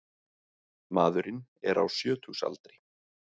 Maðurinn er á sjötugsaldri